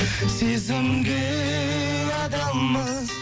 сезімге адалмыз